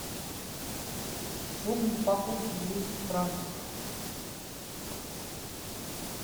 сумма покупки двести франков